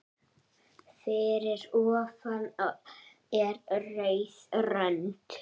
Fyrir ofan er rauð rönd.